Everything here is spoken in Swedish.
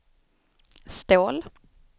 Ståhl